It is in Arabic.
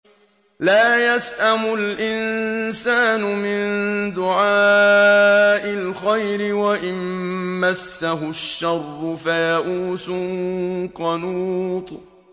لَّا يَسْأَمُ الْإِنسَانُ مِن دُعَاءِ الْخَيْرِ وَإِن مَّسَّهُ الشَّرُّ فَيَئُوسٌ قَنُوطٌ